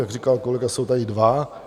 Jak říkal kolega, jsou tady dva.